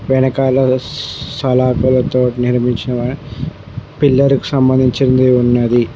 వెనకాల స్ సలాపలతో నిర్మించినవా పిల్లర్ కి సంబంధించింది ఉన్నది.